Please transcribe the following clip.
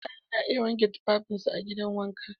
Mutane na iya wanke tufafinsu a gidan wanka.